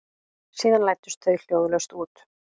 Síðan læddust þau hljóðlaust út.